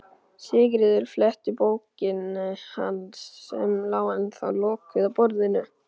Sigríður fletti bókinni hans, sem lá ennþá lokuð á borðinu.